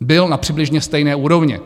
Byl na přibližně stejné úrovni.